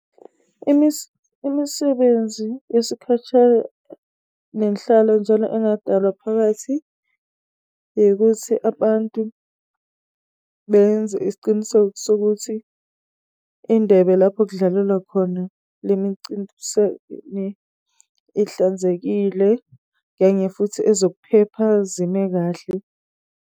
Imisebenzi yesikhashana nenhlalo njalo engadalwa phakathi yikuthi abantu benze isiqiniseko sokuthi indebe lapho okudlalelwa khona le ihlanzekile kanye futhi ezokuphepha zime kahle.